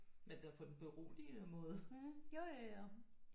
Men det er på den beroligende måde